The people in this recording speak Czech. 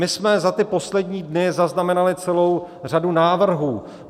My jsme za ty poslední dny zaznamenali celou řadu návrhů.